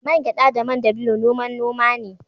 Man gyada da man dabino noman noma ne